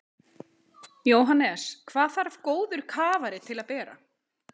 Jóhannes: Hvað þarf góður kafari til að bera?